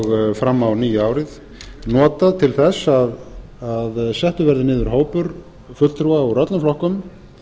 og fram á nýja árið notað til þess að settur verði niður hópur fulltrúa úr öllum flokkum